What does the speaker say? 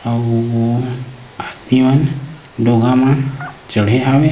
अऊ आदमी मन ढोंगा म चढ़े हे।